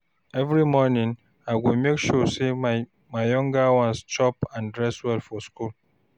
Every morning, I go make sure my younger ones chop and dress well for school.